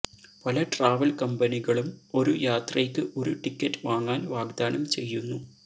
പല ട്രാവൽ കമ്പനികളും ഒരു യാത്രയ്ക്ക് ഒരു ടിക്കറ്റ് വാങ്ങാൻ വാഗ്ദാനം ചെയ്യുന്നു